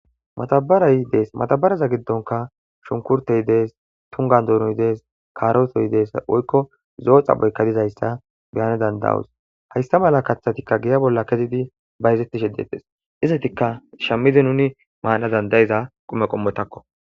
Madabaray dees matabaraza giddonka shunkurtey dees tungan donoy dees kaarotoy dees oykko zo'o xaboykka dizayssa beyane dandawus haysta mala kathatikka giya bolla kezidi bayzettishe dettes izatikka shamide nuni mana dandayiza qume qomotakko.